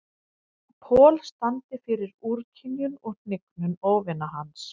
Paul standi fyrir úrkynjun og hnignun óvina hans.